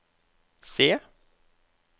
C